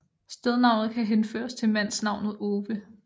Stednavnet kan henføres til mandsnavnet Ove